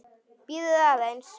Bíðið aðeins.